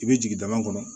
I bɛ jigin dama kɔnɔ